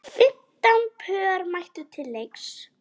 Fimmtán pör mættu til leiks.